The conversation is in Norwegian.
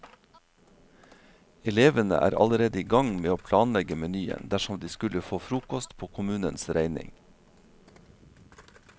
Elevene er allerede i gang med å planlegge menyen, dersom de skulle få frokost på kommunens regning.